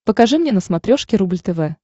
покажи мне на смотрешке рубль тв